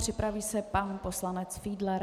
Připraví se pan poslanec Fiedler.